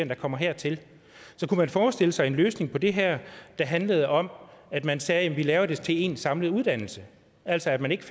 der kommer hertil så kunne man forestille sig en løsning på det her der handlede om at man sagde vi laver det til én samlet uddannelse altså at man ikke